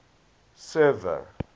server